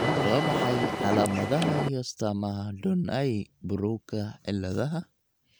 Waa maxay calaamadaha iyo astaamaha Donnai Barrowka ciladha?